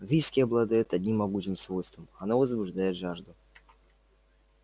виски обладает одним могучим свойством оно возбуждает жажду